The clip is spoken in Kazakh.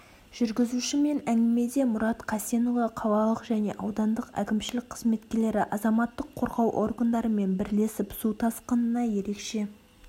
жүргізушімен әңгімеде мұрат қасенұлы қалалық және аудандық әкімшілік қызметкерлері азаматтық қорғау органдарымен бірлесіп су тасқынына ерекше